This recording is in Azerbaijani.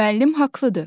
Müəllim haqlıdır.